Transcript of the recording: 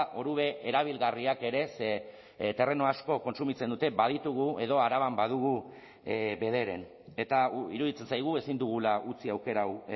orube erabilgarriak ere ze terreno asko kontsumitzen dute baditugu edo araban badugu bederen eta iruditzen zaigu ezin dugula utzi aukera hau